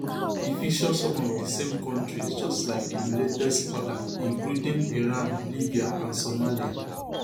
e feature some of di same kontris just like im latest order including iran libya and somalia